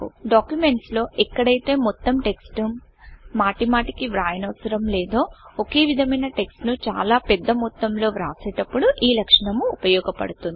documents లో ఎక్కడైతే మొత్తం టెక్స్ట్ ను మాటిమాటికి వ్రాయనవసరం లేదో ఒకేవిధమైన టెక్స్ట్ ను చాలా పెద్ద మొత్తంలో రాసేటప్పుడు ఈ లక్షణము ఉపయోగపడుతుంది